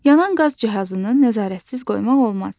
Yanan qaz cihazını nəzarətsiz qoymaq olmaz.